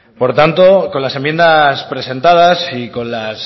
por tanto con las enmiendas presentadas y con las